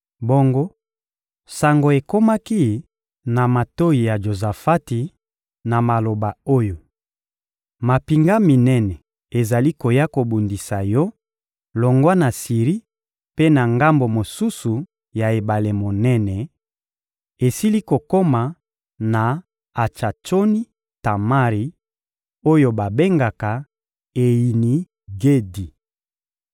Bongo sango ekomaki na matoyi ya Jozafati na maloba oyo: «Mampinga minene ezali koya kobundisa yo longwa na Siri mpe na ngambo mosusu ya ebale monene; esili kokoma na Atsatsoni-Tamari oyo babengaka Eyini-Gedi.»